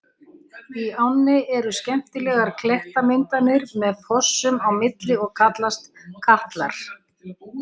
Í ánni eru skemmtilegar klettamyndanir með fossum á milli og kallast Katlar.